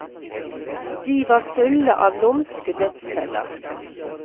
De var fulle av lumske dødsfeller.